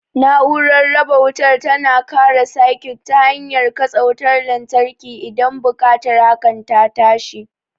Na'urar raba wutar tana kare sikut ta hanyar katse wutar lantarki idan buƙatar hakan ta tashi.